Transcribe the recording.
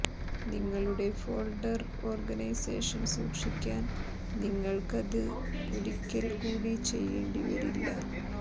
നിങ്ങളുടെ folder organisation സൂക്ഷിക്കാൻ നിങ്ങൾക്കത് ഒരിക്കൽ കൂടി ചെയ്യേണ്ടി വരില്ല